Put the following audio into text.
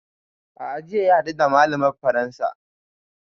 A'a jiya ya haɗu da malamar faransa